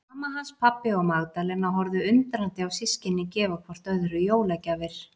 Mamma hans, pabbi og Magdalena horfðu undrandi á systkinin gefa hvort öðru jólagjafir.